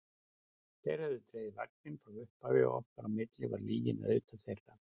Þeir höfðu dregið vagninn frá upphafi og okkar á milli var lygin auðvitað þeirra.